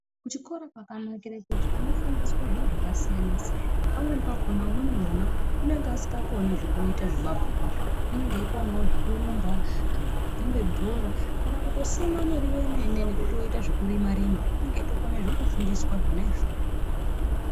Kuchikora kwakanakira kuti unofundiswe zviro zvakasiyana-siyana, pamweni pakona umweni mwana anenge asingakoni kuita zvemabhuku azvi, unenge ekonavo zvekurumba kana kutamba bhora, kana kutosima murivo vemene nekutoita zvekutorima rima unenge eitokona nekufundiswa zvona izvozvo.